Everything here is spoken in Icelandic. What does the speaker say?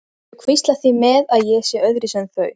Þau hvísla því með að ég sé öðruvísi en þau.